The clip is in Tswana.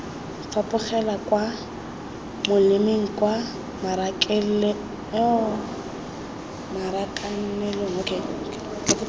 fapogela kwa molemeng kwa marakanelong